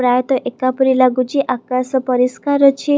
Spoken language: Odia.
ପ୍ରାୟତଃ ଏକାପରି ଲାଗୁଛି ଆକାଶ ପରିଷ୍କାର ଅଛି।